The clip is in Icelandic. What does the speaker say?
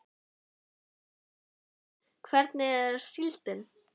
Kristján Már Unnarsson: Hvernig er síldin?